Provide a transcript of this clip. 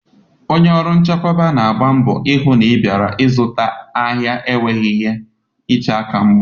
Onye ọrụ nchekwa na-agba mbọ hụ na bịara ịzụta ahịa enweghị ihe iche aka mgba.